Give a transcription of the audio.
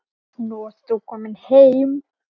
Nú ert þú komin heim.